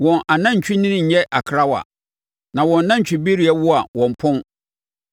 Wɔn anantwinini nyɛ akrawa; na wɔn anantwibereɛ wo a, wɔmpɔn.